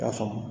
K'a faamu